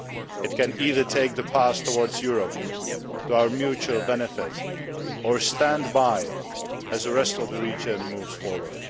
It can either take the path towards Europe, to our mutual benefit, or stand by as the rest of the region moves forward.